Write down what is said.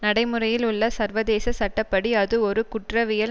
நடைமுறையில் உள்ள சர்வதேச சட்ட படி அது ஒரு குற்றவியல்